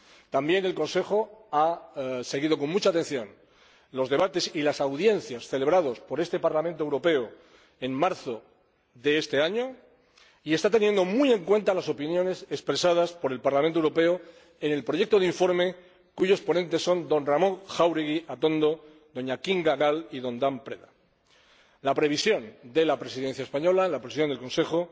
También el Consejo ha seguido con mucha atención los debates y las audiencias celebrados por este Parlamento Europeo en marzo de este año y está teniendo muy en cuenta las opiniones expresadas por el Parlamento Europeo en el proyecto de informe cuyos ponentes son Ramón Jáuregui Atondo, Kinga Gál y Cristian Dan Preda. La previsión de la Presidencia española, la posición del Consejo,